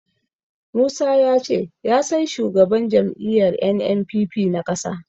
Musa ya ce ya san shugaban jam'iyyar NNPP na ƙasa.